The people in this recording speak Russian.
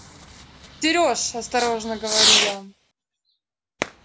сереж осторожно говорю я